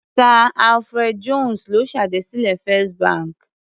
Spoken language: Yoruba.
Sir Alfred Jones ló ṣèdásílẹ̀ Fist bank.